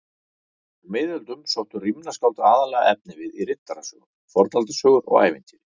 Á miðöldum sóttu rímnaskáld aðallega efnivið í riddarasögur, fornaldarsögur og ævintýri.